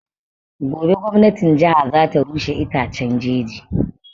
Gobe gwamnatin jiha za ta rushe itaccen jeji